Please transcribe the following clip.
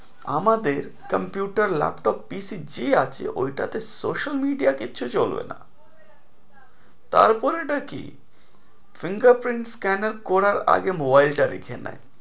আমাদের computer laptop PC যা আছে ওইটাতে social media কিচ্ছু চলবেনা তারপরেটা কি finger print scanner করার আগে nobile টা দেখে নেয়।